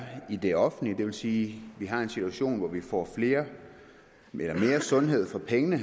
i det offentlige og det vil sige at vi har en situation hvor vi får mere sundhed for pengene